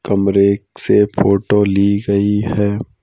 कमरे से फोटो ली गई है।